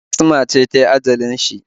Asma ce ta yi ajalin shi